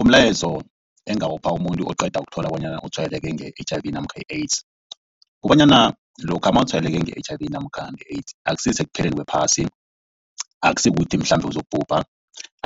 Umlayezo engingawupha umuntu oqeda ukuthola bona utshwayeleke nge-H_I_V namkha i-AIDS. Kukobanyana lokha mawutshwayeleke nge-H_I_V namkha nge-AIDS akusisekupheleni kwephasi. Akusikuthi mhlambe uzokubhubha